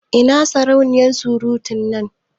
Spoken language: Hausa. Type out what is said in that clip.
Ina sarauniya surutun nan?